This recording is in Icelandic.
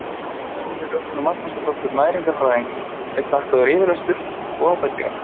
Önnu Rögnu Magnúsardóttur næringarfræðingi er þakkaður yfirlestur og ábendingar.